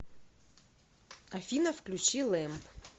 афина включи лэмб